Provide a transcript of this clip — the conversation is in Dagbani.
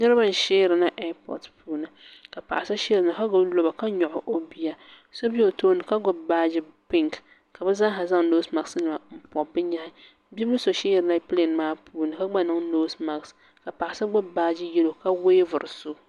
niriba n shɛrina ɛipotɛpuuni ka so shɛrina ka gbabi loba ka gbabi o biya shɛb bɛ o tuuni ka gbabi baaji pɛnkɛ ka be zaa zaŋ nosimakenim pɛli bɛ nyɛhi ka so shɛrina pɛlɛɛmaapuuni ka gba nyɛ ŋɔ niŋ nosimake ka so gbabi baaji yɛlo ka wɛvuri so